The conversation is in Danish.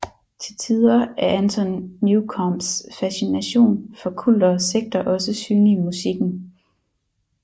Til tider er Anton Newcombes fascination for kulter og sekter også synlig i musikken